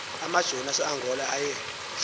amajoni aseangola aye